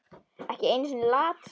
Ekki einu sinni Lat.